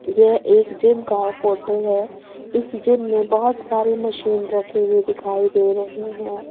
यह एक जिम का फोटो है इस जिम में बहोत सारी मशीन रखे हुए दिखाई दे रहे हैं।